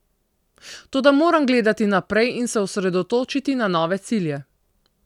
Toda moram gledati naprej in se osredotočiti na nove cilje.